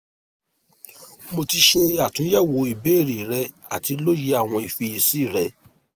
mo ti ṣe atunyẹwo ibeere rẹ ati loye awọn ifiyesi rẹ